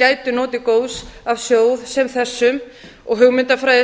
gætu notið góðs af sjóði sem þessum og hugmyndafræði